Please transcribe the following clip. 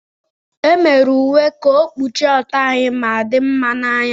E mere uwe ka ọ kpuchie ọtọ anyị ma dinma n'anya.